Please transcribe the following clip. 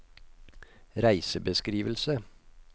reisebeskrivelse